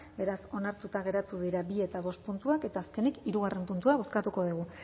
beraz onartuta geratu dira bigarrena eta bostgarrena puntuak eta azkenik hirugarrena puntua bozkatuko dugu